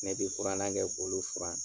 Ne bɛ furanna kɛ k'olu furan.